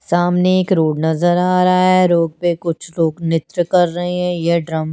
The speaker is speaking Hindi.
सामने एक रोड नज़र आरहा है रोड पे कुछ लोग नृत्य कर रहे है ये ड्रम --